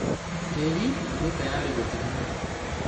Tĩri wĩtarari gũthimwo.